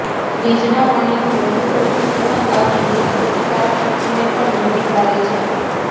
fridge ના પાણી નું વધુ પડતું સેવન આપણી રોગપ્રતિકારક શક્તિ ને પણ નબળી પાડે છે